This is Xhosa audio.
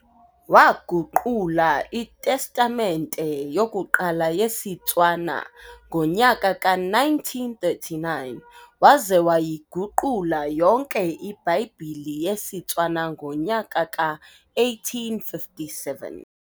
Waaguqula iTestamente yokuqala yesiTshwana ngonyaka ka-1939, waza wayiguqula yonke ibhayibhile yesiTshwana ngonyaka ka-1857.